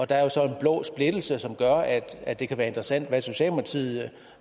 der er jo så en blå splittelse som gør at at det kan være interessant at vide